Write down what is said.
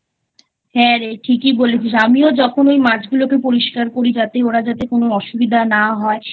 হ্যাঁ রে ঠিকই বলেছিস আমিও যখন ওই মাছগুলোকে পরিষ্কার করি যাতে ওরা কোনো অসুবিধা না হয়